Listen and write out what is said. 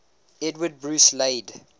edward bruce laid